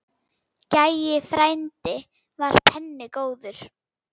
Gæi frændi var penni góður.